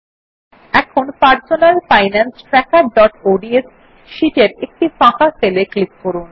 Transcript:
এখন personal finance trackerঅডস sheet এর একটি ফাঁকা সেল এ ক্লিক করুন